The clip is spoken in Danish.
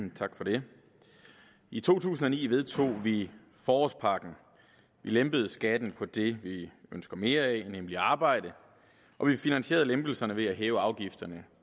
tak for det i to tusind og ni vedtog vi forårspakken vi lempede skatten på det vi ønsker mere af nemlig arbejde og vi finansierede lempelserne ved at hæve afgifterne